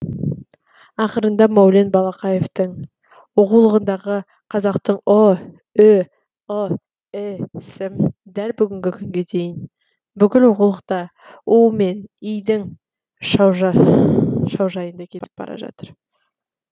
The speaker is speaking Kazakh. ақырында мәулен балақаевтың оқулығындағы қазақтың ұ ү ы і сі дәл бүгінгі күнге дейін бүкіл оқулықта у мен и дің шаужайында кетіп бара жатыр